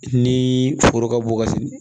Ni foro ka bon ka